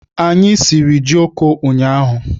Anyị siri jioko ụnyaahụ.